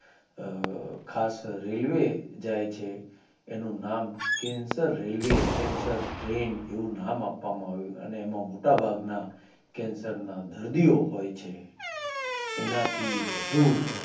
અ ખાસ રેડીઓએ જાય છે એનું નામ cancer રેલવે cancertrain એવું નામ આપવામાં આવ્યું અને એમાં મોટા ભાગના cancer ના દર્દીઓ હોય છે એના થી વધુ